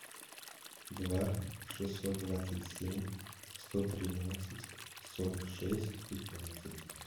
два шестьсот двадцать семь сто тринадцать сорок шесть пятнадцать